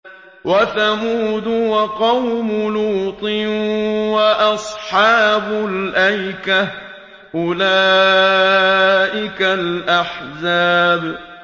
وَثَمُودُ وَقَوْمُ لُوطٍ وَأَصْحَابُ الْأَيْكَةِ ۚ أُولَٰئِكَ الْأَحْزَابُ